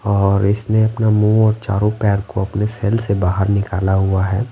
और इसने अपना मुंह और चारों पैर को अपने सेल से बाहर निकाला हुआ है।